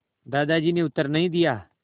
दादाजी ने उत्तर नहीं दिया